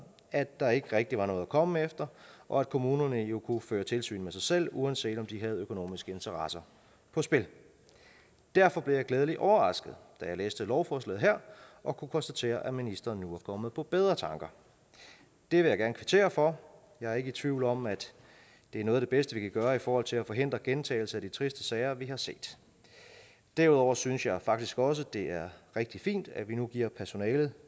at der ikke rigtig var noget at komme efter og at kommunerne jo kunne føre tilsyn med sig selv uanset om de havde økonomiske interesser på spil derfor blev jeg glædeligt overrasket da jeg læste lovforslaget her og kunne konstatere at ministeren nu var kommet på bedre tanker det vil jeg gerne kvittere for jeg er ikke i tvivl om at det er noget af det bedste vi kan gøre i forhold til at forhindre gentagelse af de triste sager vi har set derudover synes jeg faktisk også det er rigtig fint at vi nu giver personalet